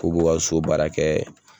Purke u ka so baara kɛ